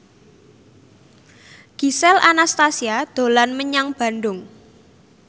Gisel Anastasia dolan menyang Bandung